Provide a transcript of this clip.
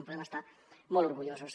en podem estar molt orgullosos